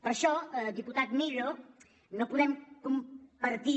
per això diputat millo no podem compar·tir